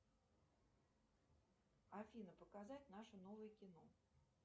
афина показать наше новое кино